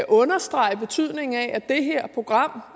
understrege betydningen af at det her program